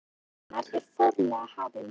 Afmælisveisla aldarinnar er formlega hafin!